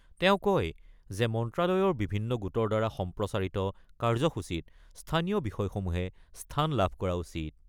তেওঁ কয় যে মন্ত্ৰালয়ৰ বিভিন্ন গোটৰ দ্বাৰা সম্প্ৰচাৰিত কাৰ্যসূচীত স্থানীয় বিষয়সমূহে স্থান লাভ কৰা উচিত।